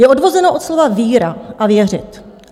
Je odvozeno od slova víra a věřit.